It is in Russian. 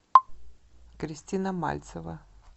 кристина мальцева